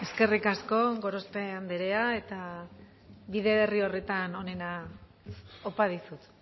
eskerrik asko gorospe andrea eta bide berri horretan onena opa dizut